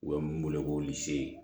U bɛ mun wele ko